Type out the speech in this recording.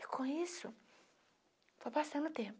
E com isso, foi passando o tempo.